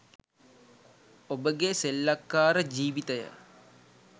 ඔබගේ සෙල්ලක්කාර ජීවිතය